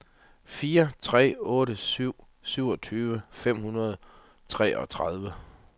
fire tre otte syv syvogtyve fem hundrede og treogtredive